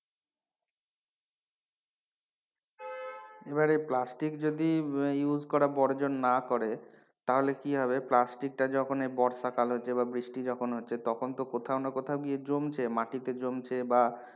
এবারে plastic যদি use করা বর্জন না করে তাহলে কি হবে plastic টা যখন এই বর্ষাকাল হচ্ছে বা বৃষ্টি যখন হচ্ছে তখন তো কোথাও না কোথাও গিয়ে জমছে মাটিতে জমছে বা,